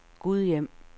Gudhjem